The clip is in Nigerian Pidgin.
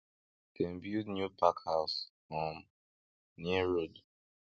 dem build new pack house um near road